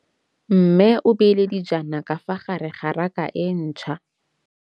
Mmê o beile dijana ka fa gare ga raka e ntšha.